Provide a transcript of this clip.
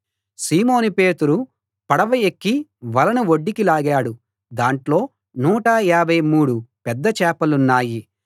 సీమోను పేతురు పడవ ఎక్కి వలను ఒడ్డుకి లాగాడు దాంట్లో 153 పెద్ద చేపలున్నాయి అన్ని చేపలు పడినా వల మాత్రం పిగిలి పోలేదు